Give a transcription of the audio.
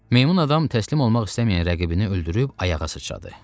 Meymun adam təslim olmaq istəməyən rəqibini öldürüb ayağa sıçradı.